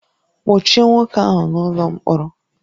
Kpọchie nwoke ahụ n'ụlọ mkpọrọ